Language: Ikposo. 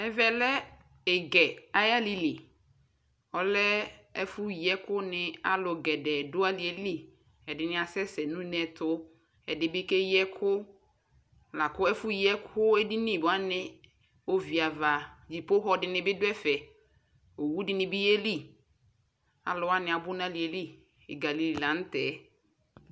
Ɛvɛ lɛ Igɛɛ ayalili ɔlɛɛ ɛfuyiɛkuni aluu gɛdɛɛ du aliɛli ɛadi asɛsɛ nuneɛtu ɛdibi keyiɛku laku ɛfu yiɛko laako ɛfoyiɛko ediniwani oviava ɖʒiƒoxɔ dinibi duɛfɛ owudini be yeli aluwani bi abu nɛfɛɛ Igɛɛ alili llaŋtɛ